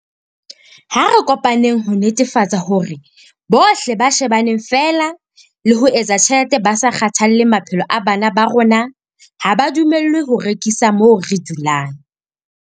Ha re kopaneng ho netefatsa hore bohle ba shebaneng feela le ho etsa tjhelete ba sa kgathalle maphelo a bana ba rona ha ba dumellwe ho rekisa moo re dulang.